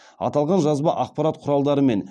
аталған жазба ақпарат құралдары мен